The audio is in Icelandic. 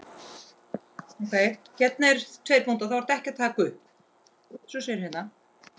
Bíllinn hans bilaði.